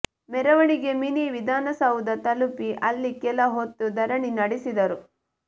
ಮೆರವಣಿಗೆ ಮಿನಿ ವಿಧಾನಸೌಧ ತಲುಪಿ ಅಲ್ಲಿ ಕೆಲ ಹೊತ್ತು ಧರಣಿ ನಡೆಸಿದರು